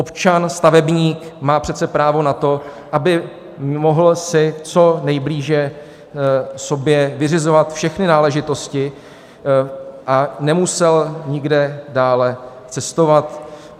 Občan stavebník má přece právo na to, aby si mohl co nejblíže sobě vyřizovat všechny náležitosti a nemusel nikde dále cestovat.